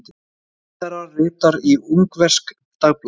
Ráðherra ritar í ungverskt dagblað